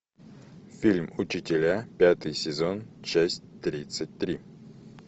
фильм учителя пятый сезон часть тридцать три